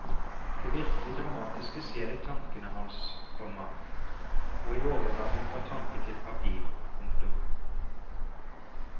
Det virkelig dramatiske skjer i tankene hans, komma og i overgangen fra tanke til papir. punktum